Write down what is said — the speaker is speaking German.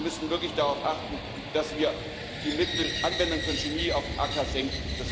Und wir müssen wirklich darauf achten, dass wir die Mittelanwendung von Chemie auf dem Acker senken.